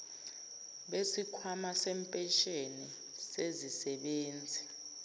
besikhwama sempesheni sezisebenzi